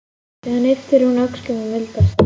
Síðan ypptir hún öxlum og mildast.